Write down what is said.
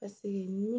Paseke